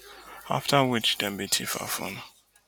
afta which dem bin tiff her phone